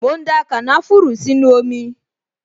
Mò ń da kànáfùrù sínú omi